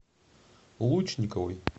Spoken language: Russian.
лучниковой